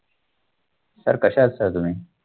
sir कसे आहात sir तुम्ही